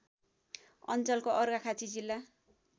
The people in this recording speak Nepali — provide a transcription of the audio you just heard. अञ्चलको अर्घाखाँची जिल्ला